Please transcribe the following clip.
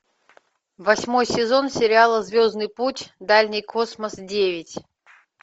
восьмой сезон сериала звездный путь дальний космос девять